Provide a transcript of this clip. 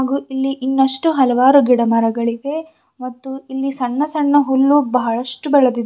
ಹಾಗು ಇಲ್ಲಿ ಇನ್ನಷ್ಟು ಹಲವಾರು ಗಿಡ ಮರಗಳಿವೆ ಮತ್ತು ಇಲ್ಲಿ ಸಣ್ಣ ಸಣ್ಣ ಹುಲ್ಲು ಬಹಳಷ್ಟು ಬೆಳದಿದೆ.